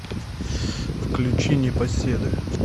включи непоседы